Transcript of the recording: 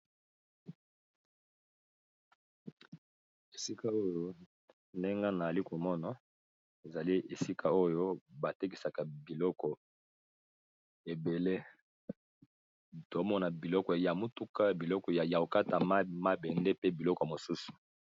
Esika oyo ndenge na alikumono ezali esika oyo batekisaka biloko ebele tomona biloko ya motuka biloko ya yaokata mabende pe biloko mosusu.